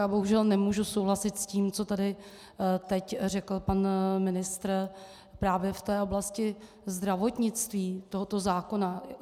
Já bohužel nemůžu souhlasit s tím, co tady teď řekl pan ministr právě v té oblasti zdravotnictví tohoto zákona.